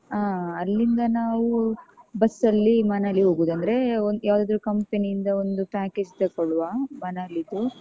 ಆ ಅಲ್ಲಿಂದ ನಾವು bus ಅಲ್ಲಿ ಮನಾಲಿ ಹೋಗುದು ಅಂದ್ರೆ ಯಾವ್ದಾದ್ರು company ಇಂದ ಒಂದು package ತಕೋಳುವ ಮನಾಲಿದು.